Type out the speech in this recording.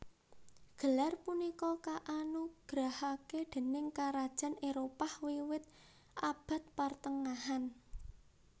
Gelar punika kaanugrahake déning karajan Éropah wiwit Abad Partengahan